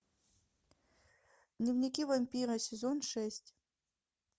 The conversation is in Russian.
дневники вампира сезон шесть